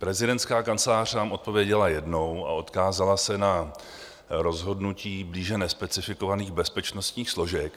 Prezidentská kancelář nám odpověděla jednou a odkázala se na rozhodnutí blíže nespecifikovaných bezpečnostních složek.